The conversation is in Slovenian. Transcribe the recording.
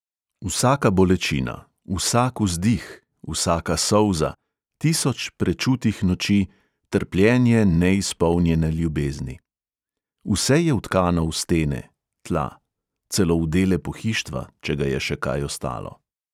Vsaka bolečina, vsak vzdih, vsaka solza, tisoč prečutih noči, trpljenje neizpolnjene ljubezni – vse je vtkano v stene, tla – celo v dele pohištva, če ga je še kaj ostalo.